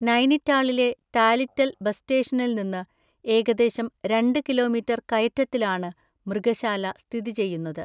നൈനിറ്റാളിലെ Tallital bus സ്റ്റേഷനിൽ നിന്ന് ഏകദേശം രണ്ട് കിലോമീറ്റർ കയറ്റത്തിലാണ് മൃഗശാല സ്ഥിതി ചെയ്യുന്നത്.